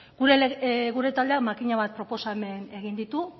gure taldeak makina bat proposamen egin ditu